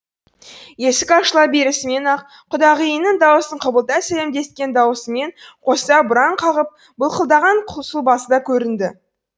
есік ашыла берісімен ақ құдағиының даусын құбылта сәлемдескен даусымен қоса бұраң қағып былқылдаған сұлбасы да көрінді